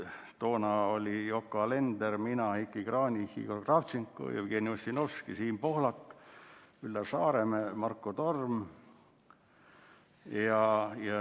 Toona olid Yoko Alender, mina, Heiki Kranich, Igor Kravtšenko, Jevgeni Ossinovski, Siim Pohlak, Üllar Saaremäe, Marko Torm.